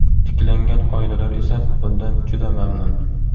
Tiklangan oilalar esa bundan juda mamnun.